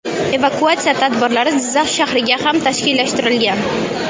Evakuatsiya tadbirlari Jizzax shahriga ham tashkillashtirilgan.